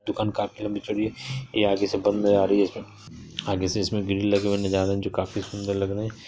दुकान काफी लंबी चौड़ी है ये आगे से बंद आ रही है आगे से इसमें ग्रील लगे हुए नजर आ रहे जो काफी सुंदर लग रहे हैं।